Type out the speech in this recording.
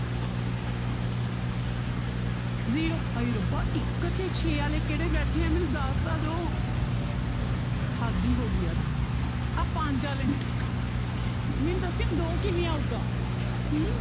Zero ਹਾਏ ਰੱਬਾ ਇੱਕ ਤੇ ਛੇ ਵਾਲੇ ਕਿਹੜੇ ਬੈਠੇ ਹੈ ਮੈਨੂੰ ਦੱਸ ਤਾਂ ਦਓ ਹੱਦ ਹੀ ਹੋ ਗਈ ਯਾਰ ਆਹ ਪੰਜ ਵਾਲੇ ਮੈਨੂੰ ਦੱਸਿਓ ਦੋ ਕਿਵੇਂ ਆਊਗਾ ਹਮ